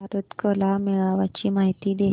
भारत कला मेळावा ची माहिती दे